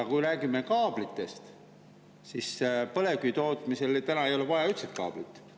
Aga kui räägime kaablitest, siis põlevkivi tootmisel täna ei ole vaja üldse kaablit.